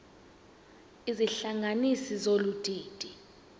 izihlanganisi zolu didi